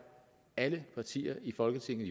alle partier i folketinget